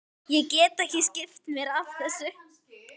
Ég get ekki skipt mér af þessu.